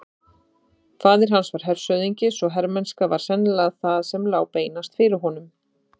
Faðir hans var hershöfðingi svo hermennska var sennilega það sem lá beinast fyrir honum.